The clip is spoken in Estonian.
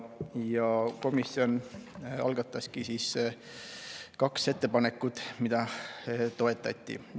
Ja komisjon algataski kaks ettepanekut, mida toetati.